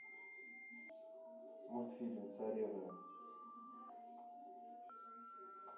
мультфильм царевны